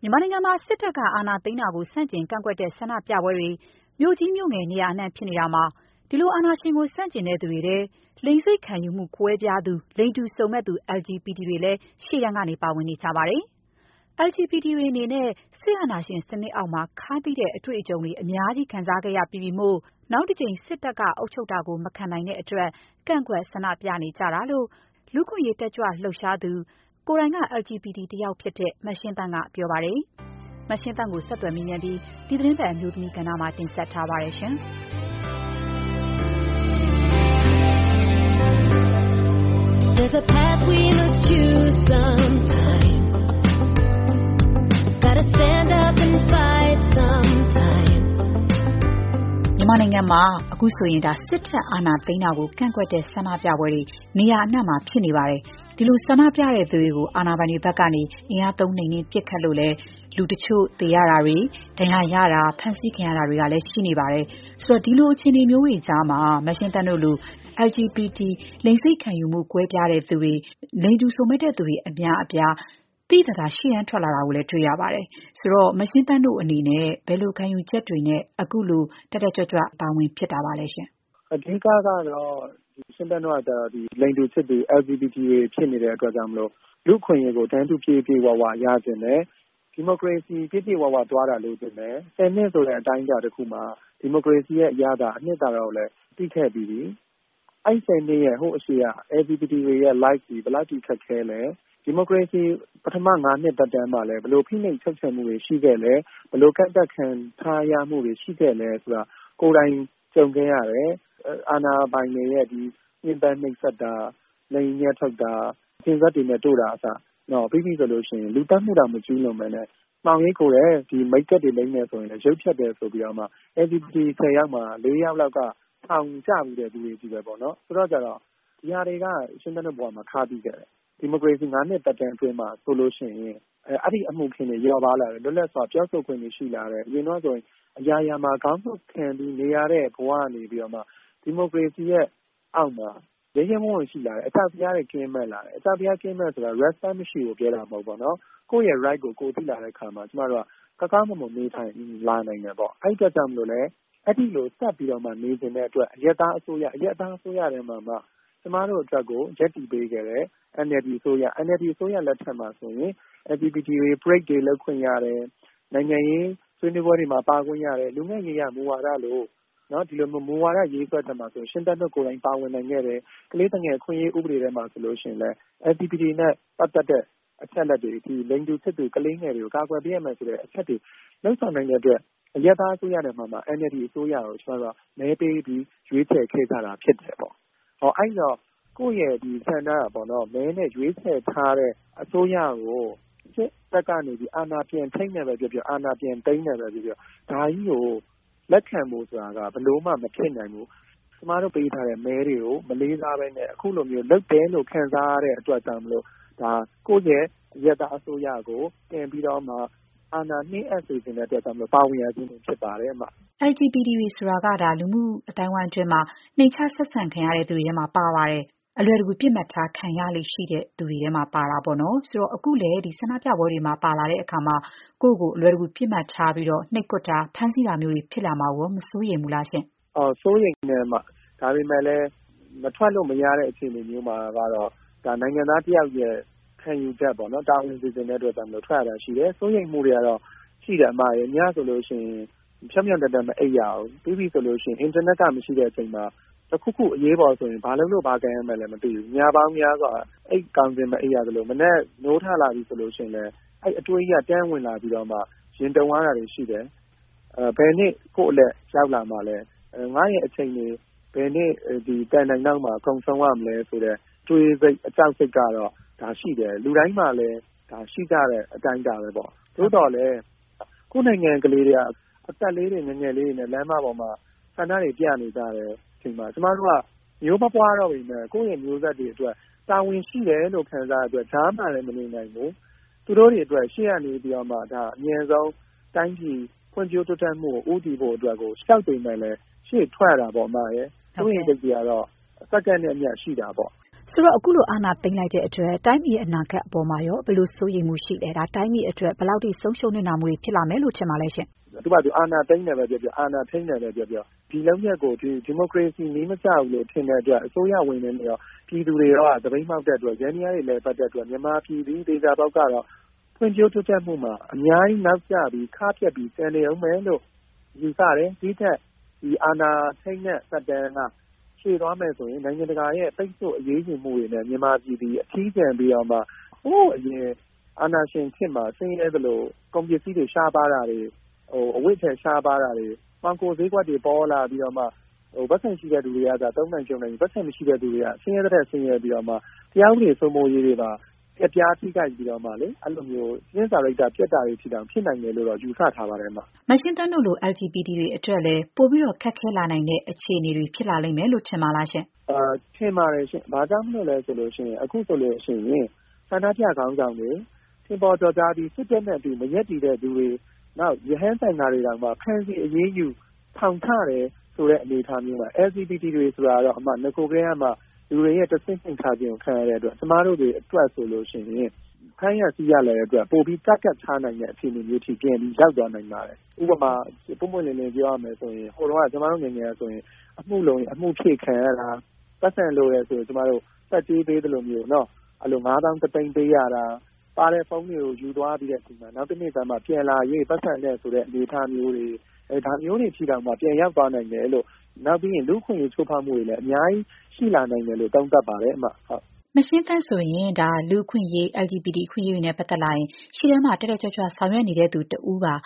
မြန်မာနိုင်ငံမှာ စစ်တပ်က အာဏာသိမ်းတာကို ဆန့်ကျင်ကန့်ကွက်တဲ့ဆန္ဒပြပွဲတွေ မြို့ကြီး မြို့ငယ် နေရာအနှံ့ ဖြစ်နေတာမှာ ဒီလို အာဏာရှင်ကို ဆန့်ကျင်သူတွေထဲ လိင်စိတ်ခံယူမှုကွဲပြားသူ လိင်တူစုံမက်သူ LGBT တွေလည်း ရှေ့တန်းကနေ ပါဝင်နေကြပါတယ်။ LGBT တွေ အနေနဲ့ စစ်အာဏာရှင်စနစ်လက်အောက်မှာ ခါးသီးတဲ့ အတွေ့အကြုံတွေ အများကြီး ခံစားခဲ့ရပြီးပြီမို့ နောက်တကြိမ် စစ်တပ်က အုပ်ချုပ်တာကို မခံနိုင်တဲ့အတွက် ကန့်ကွက် ဆန္ဒပြနေကြတာလို့ လူ့အခွင့်အရေးတက်ကြွလှုပ်ရှားသူ ကိုယ်တိုင်က LGBT တယောက်ဖြစ်တဲ့ မရှင်းသန့်ကပြောပါတယ်။ မရှင်းသန့်ကိုဆက်သွယ်မေးမြန်းပြီး ဒီသီတင်းပတ်အမျိုးသမီးကဏ္ဍကို မခင်ဖြူထွေးက တင်ဆက်ထားပါတယ်။ မြန်မာနိုင်ငံမှာ စစ်တပ် အာဏာသိမ်းတာကို ကန့်ကွက်တဲ့ ဆန္ဒပြပွဲတွေနေရာအနှံ့မှာ ဖြစ်နေတယ်။ အာဏာပိုင်တွေဘက်က အင်အားသုံးနှိမ်နင်း ပစ်ခတ်လို့လည်း လူတချို့သေဆုံးတာ၊ ဒဏ်ရာရတာ၊ ဖမ်းဆီးခံရတာတွေကလည်း ရှိနေပါတယ်။ ဒီလို အခြေအနေတွေကြားမှာ မရှင်းသန့်တို့လိုလိင်စိတ်ခံယူမှု ကွဲပြားသူတွေ၊ လိင်တူစုံမက်သူ LGBT အများအပြား သိသိသာသာ ရှေ့ထွက်လာတာကိုတွေ့လာရပါတယ်။ မရှင်းသန့်တို့အနေနဲ့ ဘယ်လို ခံယူချက်တွေနဲ့ ခုလို တက်တက်ကြွကြွ ရှေ့တန်းကနေပါဝင်ဖြစ်တာပါလဲ။ “ရှင်သန့်တို့ကကျတော့လိင်တူချစ်သူ LGBT တွေ ဖြစ်နေတာမို့ လူ့အခွင့်အရေးကို တန်းတူ ပြည့်ပြည့်၀၀ ရချင်တယ်။ ဒီမိုကရေစီ ပြည့်ပြည့်၀၀ သွားတာလိုချင်တယ်။ ၁၀ နှစ်ဆိုတဲ့ အတိုင်းအတာ တခုမှာ ဒီမိုကရေစီရဲ့အရသာ အနှစ်သာရကို သိခဲ့ပြီးပြီ။ အဲ့ဒီ ၁၀ နှစ်မတိုင်ခင် LGBT တွေရဲ့ ဘဝက ဘယ်လောက်အထိခက်ခဲလဲ။ ဒီမိုကရေစီ ပထမ ၅ နှစ်သက်တမ်းမှာလည်း ဘယ်လို ဖိနှိပ်ချုပ်ချယ်မှုတွေရှိခဲ့လဲ။ ဘယ်လို ကန့်သတ်ခံရမှုတွေ ရှိခဲ့သလဲ ဆိုတာက ကိုယ်တိုင် ကြုံခဲ့ရတယ်။ အာဏာပိုင်တွေရဲ့ညှင်းပမ်းနှိပ်စက်တာ၊ လိင်အမြတ်ထုတ်တာ၊ ကျင်စက်တွေနဲ့ တို့တာကအစ လူသတ်မှုတောင် မကျူးလွန်ဘဲနဲ့ မှောင်ရိပ်ခိုတယ်၊ မိတ်ကပ်လိမ်းတယ်ဆိုရင်လည်း ရုပ်ဖျက်တယ်ဆိုပြီး LGBT ၁၀ ယောက်မှာ ၄ ယောက်လောက်က ထောင်ကျဖူးတဲ့သူတွေချည်းပဲ။ ဒါတွေက ရှင်းသန့် တို့ဘဝမှာ ခါးသီးခဲ့တယ်။ ဒီမိုကရေစီ ၅ နှစ်သက်တမ်း အတွင်းမှာဆိုရင် ဒီလိုအမှုအခင်းတွေ လျော့ပါးလာတယ်။ လွတ်လပ်စွာပြောဆိုခွင့်တွေ ရှိလာတယ်။ အရင်တုန်းကဆိုရင် အရာရာမှာ ခေါင်းငုံ့ခံပြီးနေရတဲ့ ဘဝကနေဒီမိုကရေစီရဲ့အောက်မှာ ရဲရဲဝံ့ဝံ့ ရှိလာတယ်။ အကြောက်တရားတွေ ကင်းမဲ့လာတယ်။ အကြောက်တရားကင်းမဲ့တယ်ဆိုတာ respect မရှိဘူးလို့ ပြောတာ မဟုတ်ဘူး။ ကိုယ့်ရဲ့အခွင့်အရေးကို သိလာတဲ့အခါကောင်းကောင်းမွန်မွန် နေနိုင်လာတယ်။ အဲ့ဒီလိုဆက်ပြီးနေချင်တဲ့အတွက် အရပ်သားအစိုးရ၊အရပ်သားအစိုးရထဲမှာမှ ကျမတို့အတွက်ကို ရပ်တည်ပေးခဲ့တဲ့ NLD အစိုးရ။ NLD အစိုးရလက်ထက်မှာဆိုရင်LGBT တွေ parade တွေ လုပ်ခွင့်ရတယ်။ နိုင်ငံရေးဆွေးနွေးပွဲတွေ၊ လူငယ့်ရေးရာမူဝါဒလိုမူဝါဒရေးဆွဲတဲ့နေရာတွေမှာ ပါဝင်နိုင်ခဲ့တယ်။ ကလေးသူငယ်အခွင့်အရေး ဆိုရင်လည်း LGBT နဲ့ပတ်သက်တဲ့အချက်အလက်တွေ၊လိင်တူချစ်သူ ကလေးငယ်တွေကို ကာကွယ်ပေးရမယ်ဆိုတဲ့ အချက်တွေ လုပ်ဆောင်နိုင်တဲ့အတွက် အရပ်သားအစိုးရထဲမှာမှ NLD အစိုးရကို မဲပေး ရွေးချယ်ခဲ့ကြတာဖြစ်တယ်။ အဲ့ဒီတော့ ကိုယ့်ရဲ့မဲဆန္ဒမဲနဲ့ရွေးချယ်ထားတဲ့ အစိုးရကို စစ်တပ်ကနေ အာဏာပြန်ထိန်းတယ်ပဲ ပြောပြော အာဏာပြန်သိမ်းတယ်ပဲပြောပြောဒါကြီးကို လက်ခံဖို့ဆိုတာက ဘယ်လိုမှကို မဖြစ်နိုင်ဘူး။ ကျမတို့ ပေးထားတဲ့မဲတွေကို မလေးစားဘဲနဲ့ခုလို လုပ်တယ်လို့ ခံစားရတဲ့အတွက်ကြောင့် ကိုယ့်ရဲ့အရပ်သား အစိုးရကို ပြန်ပြီးတော့အာဏာနှင်းအပ်စေချင်တဲ့အတွက် ပါဝင်ရခြင်းဖြစ်ပါတယ်။” LGBT တွေဆိုတာ မြန်မာလူမှုအသိုင်းအဝိုင်းမှာ နှိမ်ချ ဆက်ဆံခံရတဲ့သူတွေထဲမှာပါ ပါတယ်။ အလွယ်တကူ ပစ်မှတ်ထား ခံရလေ့ရှိတဲ့ သူတွေပါ။ အခုလဲ ဆန္ဒပြပွဲတွေမှာ ပါလာတဲ့အခါကိုယ့်ကို အလွယ်တကူ ပစ်မှတ်ထားပြီး နှိပ်ကွက်တာ၊ ဖမ်းဆီးတာမျိုးတွေ ဖြစ်လာမှာကို မစိုးရိမ်ဘူးလား။ “စိုးရိမ်ပါတယ်။ ဒါပေမဲ့လည်း မထွက်လို့မရတဲ့ အခြေအနေမျိုးမှာကတော့ ဒါက နိုင်ငံသားတယောက်ရဲ့ ခံယူချက်ပေါ့။ တာဝန်ကျေချင်တဲ့အတွက် ထွက်ရတာရှိတယ်။ စိုးရိမ်မှုတွေတော့ရှိတာပေါ့ အစ်မရယ်။ ညဆိုရင် ဖြောင့်ဖြောင့်တန်းတန်း မအိပ်ရဘူး။ အင်တာနက်မရှိတဲ့ အချိန်မှာ တခုခု အရေးပေါ်ဆိုရင် ဘယ်လုပ်လို့ဘာကိုင်ရမှန်းမသိဘူး။ ညပေါင်းများစွာ အိပ်ကောင်းခြင်းမအိပ်ရသလို၊ မနက် နိုးလာပြီဆိုရင်လဲ အဲ့ဒီအတွေးကြီးက တန်းဝင်လာပြီးတော့မှ ရင်တုန်ရတာတွေရှိတယ်။ ပြီးရင် ဘယ်နေ့ ကိုယ့်အလှည့်ရောက်လာမှာလဲ။ ငါ့ရဲ့အချိန်တွေ ဘယ်နေ့ သံတိုင်အောက်မှာကုန်ဆုံးရမလဲ ဆိုတဲ့ အတွေး ကြောက်စိတ်ကတော့ ရှိတယ်။ ဒါက လူတိုင်းမှာလည်း ရှိကြတဲ့အတိုင်းအတာပဲပေါ့။ သို့သော်လည်း ကိုယ့်နိုင်ငံက ကလေးတွေက အသက်လေးတွေ ငယ်ငယ်လေးတွေနဲ့ လမ်းပေါ်မှာ ဆန္ဒတွေပြနေကြတယ်။ သေသွားတဲ့ကလေးတွေ ဆိုရင် အသက်မပြည့်သေးသူတွေတောင် ပါတဲ့အချိန်မှာ ကျမတို့က မျိုးမပွားတော့ပေမဲ့ ကိုယ့်ရဲ့မျိုးဆက်တွေအတွက် တာဝန်ရှိတယ်လို့ ခံစားရတဲ့အတွက် ကြားမှာလည်း မနေနိုင်ဘူး။ သူတို့တွေအတွက် ရှေ့က နေပြီးတော့မှ တိုင်းပြည် ဖွံ့ဖြိုးတိုးတက်မှုအတွက် အမြန်ဆုံးဦးတည်နိုင်ဖို့အတွက်ကို ကြောက်ပေမဲ့လည်း ရှေ့ထွက်ရတာပေါ့။ စိုးရိမ်စိတ်တွေကတော့ စက္ကန့်နဲ့အမျှ ရှိတာပေါ့။” ဆိုတော့ အခုလို အာဏာသိမ်းလိုက်တဲ့အတွက် တိုင်းပြည်အတွက် ဘယ်လိုစိုးရိမ်မှုတွေဖြစ်စေလဲ။ နိုင်ငံအတွက် ဘယ်လောက် ဆုံးရှုံးနစ်နာမှုတွေ ဖြစ်လာနိုင်တယ်လို့ ထင်ပါလဲ။ “သူ့ဟာသူ အာဏာသိမ်းတယ်ပဲပြောပြော၊ အာဏာထိန်းတယ်ပဲပြောပြော။ ဒါကို ဒီမိုကရေစီနည်းမကျဘူးလို့ ထင်တဲ့အတွက် အစိုးရဝန်ထမ်းတွေရော ပြည်သူတွေရောက သပိတ်မှောက်တဲ့အတွက် ယန္တရားတွေ မလည်ပတ်တဲ့အတွက် မြန်မာပြည်သည် သေချာပေါက်ကတော့ ဖွံ့ဖြိုးတိုးတက်မှုမှာ နောက်ကျပြီး ခါးပြတ်ပြီး ကျန်နေဦးမယ်လို့ ယူဆတယ်။ ဒီ့ထက် အာဏာသိမ်းတဲ့ သက်တမ်းက ရှည်သွားမယ်ဆိုရင် နိုင်ငံတကာရဲ့ ပိတ်ဆို့အရေးယူမှုတွေနဲ့ မြန်မာပြည်သည် အထီးကျန်ပြီးတော့မှ နဂို ရှိရင်းစွဲ ဖွံ့ဖြိုးတိုးတက်မှုတွေကနေ ဟိုးအရင် အာဏာရှင်စနစ်မှာ ဆင်းရဲသလို ကုန်ပစ္စည်းတွေ ရှားပါးတာတွေ၊ အဝတ်အထည် ရှားပါးတာတွေ၊ မှောင်ခိုဈေးကွက်တွေ ပေါလာပြီးတော့မှ ပိုက်ဆံရှိတဲ့သူတွေပဲ သုံးနိုင်ဖြုန်းနိုင်ပြီး ပိုက်ဆံမရှိတဲ့သူတွေက ဆင်းရဲသည်ထက် ဆင်းရဲပြီးတော့မှ တရားဥပဒေစိုးမိုးရေးတွေပါ ပျက်ပြားထိခိုက်ပြီး အကျင့်စာရိတ္တပျက်တာတွေအထိတောင် ဖြစ်နိုင်တယ်လို့ယူဆထားပါတယ်။” မရှင်းသန့်တို့လို LGBT တွေအတွက်ရော ပိုပြီး ခက်ခဲလာနိုင်တဲ့ အခြေအနေတွေ ဖြစ်လာလိမ့်မယ်လို့ ထင်ပါသလား။ “ထင်ပါတယ်ရှင့်။ ဘာကြောင့်လို့လဲ ဆိုရင်တော့ အခုဆိုရင် ဆန္ဒပြခေါင်းဆောင်တွေ ထင်ပေါ်ကျော်ကြားပြီး စစ်တပ်နဲ့ မရပ်တည်သူတွေ၊ ရဟန်းသံဃာတွေတောင်မှ ဖမ်းဆီး အရေးယူ ထောင်ချတယ် ဆိုတဲ့အနေအထားမှာ LGBT တွေဆိုတာတော့ နဂိုကတည်းကမှ လူတွေရဲ့ တဆင့်နိမ့်ထားခြင်းကို ခံရတဲ့အတွက် ကျမတို့တွေအတွက်ဆိုရင် ဖမ်းရဆီးရလွယ်တဲ့အတွက် ပိုပြီး ပစ်မှတ်ထားနိုင်တဲ့ အခြေအနေ ပြန်ပြီး ရောက်သွားနိုင်ပါတယ်။ ဥပမာ ပွင့်ပွင့်လင်းလင်း ပြောရမယ်ဆိုရင် ဟိုတုန်းက ကျမတို့ငယ်ငယ်ကဆိုရင်အမှုလိုရင် အမှုဖြည့်ခံရတာ။ ပိုက်ဆံလိုတယ်ဆိုရင် ဆတ်ကြေးပေးသလိုမျိုး ငါးသောင်း တစ်သိန်းပေးရတာ။ ပါတဲ့ဖုန်းတွေကို ယူသွားပြီး နောက်တနေ့ကျမှ ပြန်လာရွေး ပိုက်ဆံပေးရမယ်ဆိုတဲ့ အနေအထားမျိုးတွေအထိတောင် ပြန်ရောက်သွားနိုင်ပါတယ်။ ဒါ့အပြင် လူ့အခွင့်အရေး ချိုးဖောက်မှုတွေလည်း အများကြီးရှိလာနိုင်တယ်လို့ သုံးသပ်ပါတယ်။” မရှင်းသန့်ဆိုရင် လူ့အခွင့်အရေး၊ LGBT အခွင့်အရေးတွေနဲ့ပတ်သက်လာရင် ရှေ့တန်းမှာ တက်တက်ကြွကြွ ဆောင်ရွက်နေတဲ့သူ တယောက် ဖြစ်ပါတ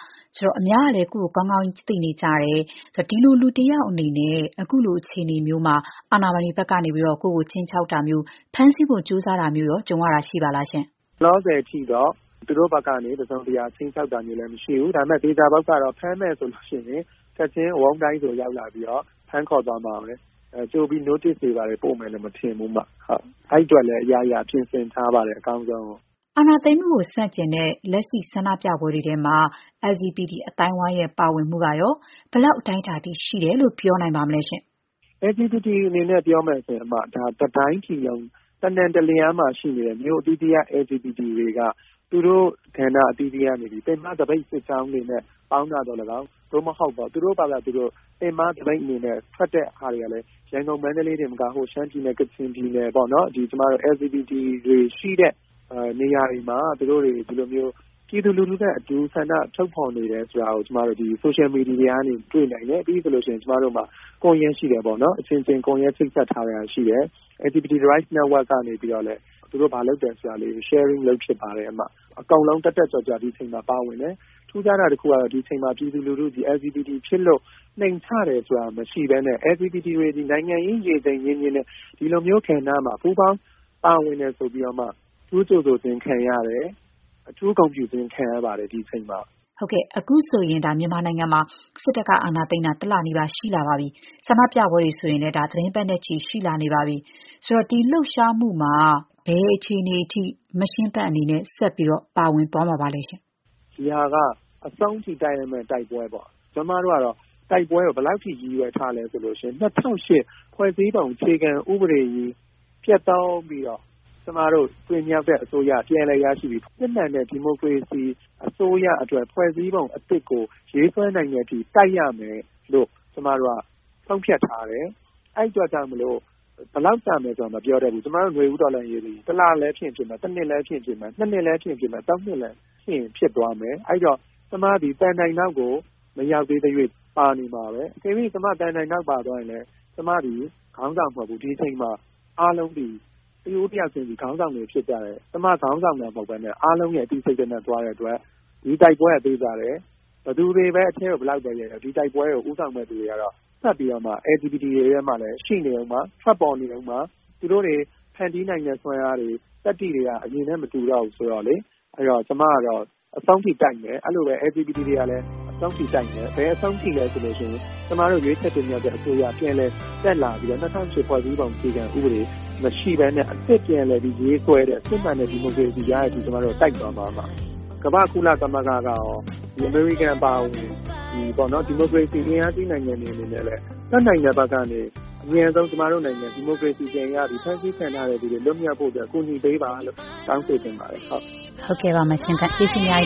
ယ်။ အများကလည်း ကိုယ့်ကို ကောင်းကောင်းသိနေကြတယ်ဆိုတော့ ဒီလိုလူတယောက်အေနေနဲ့ အခုလို အခြေအနေမျိုးမှာ အာဏာပိုင်တွေဘက်က ကိုယ့်ကို ခြိမ်းခြောက်တာမျိုး၊ ဖမ်းဆီးဖို့ကြိုးစားတာမျိုးရော ကြုံရတာရှိပါလား။ “လောလောဆယ်အထိတော့ သူတို့ဘက်ကနေ တစုံတရာ ခြိမ်းခြောက်တာမျိုးတော့မရှိဘူး။ ဒါပေမဲ့ သေချာတာကတော့ ဖမ်းမယ်ဆိုလို့ရှိရင် ချက်ချင်းဝုန်းဒိုင်းဆို ရောက်လာပြီးတော့ ဖမ်းခေါ်သွားမှာပဲ။ ကြိုပြီး notice တွေ ဘာတွေ ပေးမယ်လို့မထင်ဘူး။ အဲ့ဒီအတွက်လည်း အရာရာပြင်ဆင်ထားပါတယ်။ အကောင်းဆုံးရင်ဆိုင်ဖို့။” အာဏာသိမ်းမှုကိုဆန့်ကျင်တဲ့ လက်ရှိဆန္ဒပြပွဲတွေမှာ LGBT အသိုင်းအဝိုင်းရဲ့ ပါဝင်မှုကရော ဘယ်လောက် အတိုင်းအတာထိ ရှိတယ်လို့ ပြောနိုင်ပါလဲ။ “LGBT အနေနဲ့ ပြောမယ်ဆိုရင် ဒါက တတိုင်းပြည်လုံး တနှံတလျားမှာရှိနေတဲ့မြို့အသီးသီးက LGBT တွေက သူတို့ကဏ္ဍ အသီးသီးကနေ ပင်မသပိတ်စစ်ကြောင်းတွေနဲ့ ပေါင်းတာသော်လည်းကောင်း၊ သို့မဟုတ် သူတို့ဖာသာသူတို့ ပင်မသပိတ်အနေနဲ့ ထွက်တဲ့ဟာတွေကလည်း ရန်ကုန်၊ မန္တလေးတင်မကဘူး။ရှမ်းပြည်နယ်၊ ကချင်ပြည်နယ် စသဖြင့် LGBT တွေရှိတဲ့နေရာတွေမှာ သူတို့တွေဟာ ပြည်သူလူထုနဲ့အတူ ဆန္ဒထုတ်ဖော်နေတယ်ဆိုတာကို လူမှုကွန်ရက်တွေကနေ တွေ့နိုင်တယ်။ ကျမတို့အချင်းချင်း ချိတ်ဆက်ထားတဲ့ ကွန်ရက်လည်း ရှိပါတယ်။ LGBT Rights Network ကနေပြီးတော့လည်း သူတို့ဘာလုပ်တယ်ဆိုတာတွေကို sharing လုပ်ဖြစ်ပါတယ်။ အကုန်လုံး တက်တက်ကြွကြွ ဒီအချိန်မှာ ပါဝင်တယ်။ ထူးခြားတာတခုကတော့ ဒီအချိန်မှာ ပြည်သူလူထုသည် LGBT ဖြစ်လို့ နှိမ်ချတယ်ဆိုတာ မရှိဘဲနဲ့ LGBT တွေသည် နိုင်ငံရေး ရေချိန်မြင့်မြင့်နဲ့ ဒီလိုမျိုးကဏ္ဍမှာ ပူးပေါင်း ပါဝင်တယ်ဆိုပြီး အထူးကြိုဆိုခြင်းခံရတယ်။ ဒီအချိန်မှာ အထူး ဂုဏ်ပြုခြင်း ခံရပါတယ်။” အခုဆိုရင် မြန်မာနိုင်ငံမှာ စစ်တပ်က အာဏာသိမ်းတာ ၁ လနီးပါးရှိလာနေပြီး ဆန္ဒပြပွဲတွေဆိုရင်လည်း သီတင်းပတ်နဲ့ချီနေပါပြီ။ ဒီလှုပ်ရှားမှုမှာ မရှင်းသန့်အနေနဲ့ ဘယ်လိုရပ်တည်ပြီး ဘယ်လိုအခြေအနေမျိုးနဲ့ဆက်ပြီး ပါဝင်သွားပါမလဲ။ “ဒီဟာက အဆုံးထိ တိုက်ရမယ့်တိုက်ပွဲပေါ့။ ကျမတို့ကတော့ တိုက်ပွဲကို ဘယ်လောက်အထိ ရည်ရွယ်ထားသလဲ ဆိုရင် ၂၀၀၈ ဖွဲ့စည်းပုံ အခြေခံဥပဒေကြီး ပျက်သုဉ်းပြီးတော့ ကျမတို့တင်မြှောက်တဲ့ အစိုးရ ပြန်လည်အာဏာရရှိပြီး စစ်မှန်တဲ့ ဒီမိုကရေစီအစိုးရအတွက် ဖွဲ့စည်းပုံ အသစ်ကို ရေးဆွဲနိုင်တဲ့အထိ တိုက်ရမယ်လို့ ဆုံးဖြတ်ထားတယ်။ အဲ့ဒီအတွက် ဘယ်လောက်ကြာမလဲ မပြောနိုင်ဘူး။ ကျမတို့ နွေဦးတော်လှန်ရေးသည် ၁ လ လည်းဖြစ်နိုင်တယ်။ ၁ နှစ်လည်းဖြစ်နိုင်တယ်။၂ နှစ် ၃ နှစ်လည်း ဖြစ်ရင်ဖြစ်သွားမယ်။ အဲ့ဒီတော့ ကျမသည် သံတိုင်နောက်ကို မရောက်သေးသ၍ ပါနေမှာပဲ။ အကယ်၍ ကျမ သံတိုင်နောက်ပါသွားရင်လည်း ကျမသည် ခေါင်းဆောင်မဟုတ်ဘူး။ ဒီအချိန်မှာအားလုံးသည် တဦးတယောက်တိုင်းသည် ခေါင်းဆောင်တွေ ဖြစ်ကြတယ်။ ကျမ ခေါင်းဆောင်တာ မဟုတ်ဘဲ အားလုံးရဲ့အသိစိတ်ဓာတ်နဲ့သွားတဲ့အတွက် ဒီတိုက်ပွဲက သေချာတယ်။ ဘယ်သူတွေ ဘယ်လောက်ပဲ အထဲကိုရောက်ရောက် ဒီတိုက်ပွဲကို ဦးဆောင်မယ့်သူတွေကတော့ ဆက်ရှိနေမယ်။ LGBT တွေထဲမှာလည်း ရှိနေဦးမှာ။ ထွက်ပေါ်နေဦးမှာ။ သူတို့တွေ ဖန်တီးနိုင်တဲ့ စွမ်းအားတွေ သတ္တိတွေက အရင်နဲ့ မတူတော့ဘူးဆိုတော့ ကျမကတော့ အဆုံးထိ တိုက်မယ်။ အဲ့ဒီလိုပဲ LGBT တွေကလည်း အဆုံးထိတိုက်မယ်။ ဘယ်အဆုံးထိလဲဆိုရင် ကျမတို့ ရွေးချယ်တင်မြှောက်တဲ့အစိုးရ ပြန်လည် တက်လာပြီးတော့ ၂၀၀၈ ဖွဲ့စည်းပုံ အခြေခံဥပဒေမရှိဘဲနဲ့ အသစ်ပြန်လည်ရေးဆွဲတဲ့ စစ်မှန်တဲ့ဒီမိုကရေစီရတဲ့အထိ တိုက်သွားမှာပါ။ ကုလသမဂ္ဂကရော၊ အမေရိကန် အပါအဝင် ဒီမိုကရေစီအင်အားကြီး နိုင်ငံတွေ အနေနဲ့လည်း တတ်နိုင်တဲ့ဘက်ကနေ ကျမတို့နိုင်ငံအမြန်ဆုံး ဒီမိုကရေစီပြန်ရပြီး ဖမ်းဆီးခံထားရတဲ့သူတွေ လွတ်မြောက်ဖို့အတွက် ကူညီပေးပါလို့ တောင်းဆိုချင်ပါတယ်။” ဟုတ်ကဲ့။ ကျေးဇူးအများ